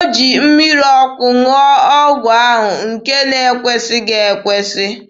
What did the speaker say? O ji mmiri ọkụ ṅụọ ọgwụ ahụ, nke na-ekwesịghị ekwesị.